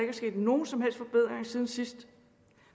er sket nogen som helst forbedring siden sidst